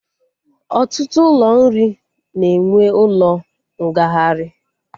Ọtụtụ ụlọ nri na-enwe ụlọ ngagharị